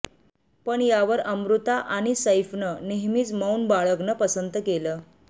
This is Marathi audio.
पण यावर अमृता आणि सैफनं नेहमीच मौन बाळगणं पसंत केलं